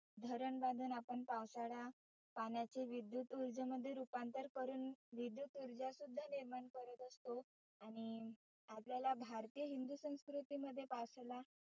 धरण बांधुन आपण पावसाळा पाण्याचे विद्युत उर्जेमध्ये रुपांतर करुण विद्युत उर्जा सुद्धा निर्माण करत असतो. आणि आपल्याला भारतीय हिंदु संस्कृती मध्ये पावसाला